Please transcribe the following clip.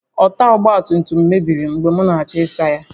Ọta ọgba tum tum mebiri mgbe m na-achọ ịsa ya